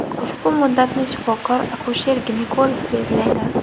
Ushbu muddatni shifokor akusher-ginekolog belgilaydi.